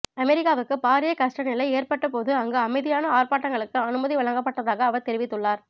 அமெரிக்காவுக்கு பாரிய கஸ்டநிலை ஏற்பட்ட போது அங்கு அமைதியான ஆர்ப்பாட்டங்களுக்கு அனுமதி வழங்கப்பட்டதாக அவர் தெரிவித்துள்ளார்